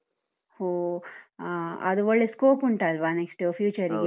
ಒಹ್ ಆ, ಅದು ಒಳ್ಳೇ scope ಉಂಟಲ್ವಾ next future ಗೆ?